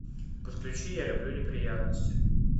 подключи я люблю неприятности